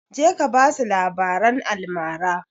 Je ka basu labaran almara!